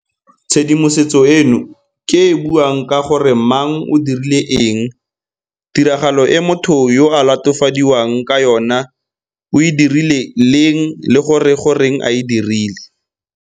Tshedimosetso eno ke e e buang ka gore mang o dirile eng, tiragalo e motho yo a latofadiwang ka yona o e dirile leng le gore goreng a e dirile.